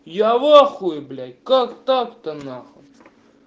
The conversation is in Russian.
я в ахуе блять как так-то нахуй